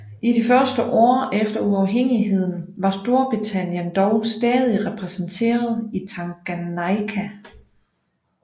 I det første år efter uafhængigheden var Storbritannien dog stadig repræsenteret i Tanganyika